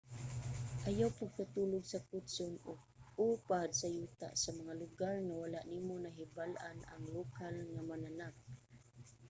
ayaw pagkatulog sa kutson o pad sa yuta sa mga lugar nga wala nimo nahibal-an ang lokal nga mananap